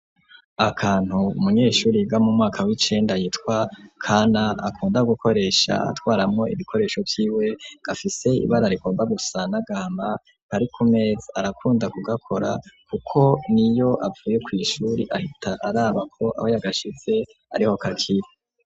Akantu umunyeshure yiga mu mwaka w'icenda yitwa kana akunda gukoresha atwaramo ibikoresho by'iwe, gafise ibara rikomba gusa n’agahama karikumeza, arakunda kugakora kuko niyo avuye ku ishuri ahita arabako aho yagashitse ariho kakiri.